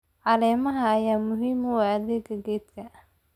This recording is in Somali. Caleemaha ayaa muhiim u ah adayga geedka.